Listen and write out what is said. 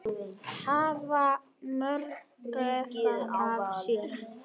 Hvað maður gaf af sér.